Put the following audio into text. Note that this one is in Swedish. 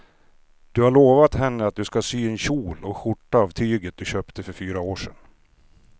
Du har lovat henne att du ska sy en kjol och skjorta av tyget du köpte för fyra år sedan.